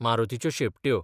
मारुतीच्यो शेंपट्यो